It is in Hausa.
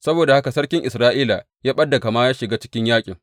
Saboda haka sarkin Isra’ila ya ɓad da kama ya shiga cikin yaƙin.